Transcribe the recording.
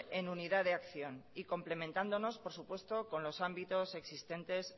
en unidad de acción y complementándonos por supuesto con los ámbitos existentes